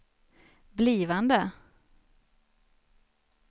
blivande